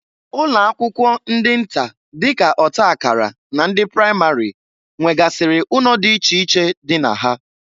Ụlọakwụkwọ ndị nta dịka ọtakara na ndị pramari nwegasịrị ụnọ dị iche iche dị na ha.